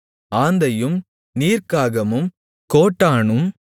ஆந்தையும் நீர்க்காகமும் கோட்டானும்